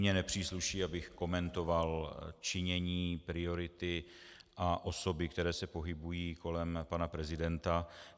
Mně nepřísluší, abych komentoval činění, priority a osoby, které se pohybují kolem pana prezidenta.